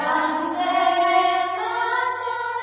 Vande Mataram